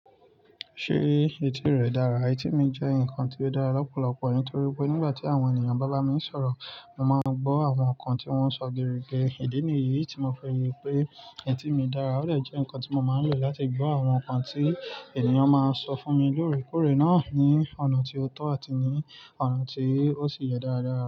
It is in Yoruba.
Ṣé etí rẹ dára? Etí mi jẹ́ nǹkan tí ó dára lọ́pọ̀lọpọ̀ nítorí pé nígbà tí àwọn ènìyàn bá bá mi sọ̀rọ̀, mo máa ń gbọ́ àwọn nǹkan tí wọ́n ń sọ gidigidi. Ìdí nìyí tí mo fẹ́ rọ pé etí mi dára, ó dè jẹ́ nǹkan tí mo máa ń lò láti gbọ́ àwọn nǹkan tí ènìyàn máa sọ fún mi lóòrèkóòrè náà ní ọ̀nà tí ó tọ́ àti ní ọ̀nà tí ó sì yẹ dáradára.